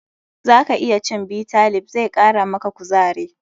Zaka iya cin Bitter leaf, zai kara maka kuzare.